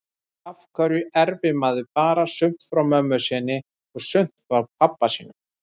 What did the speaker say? Af hverju erfir maður bara sumt frá mömmu sinni og sumt frá pabba sínum?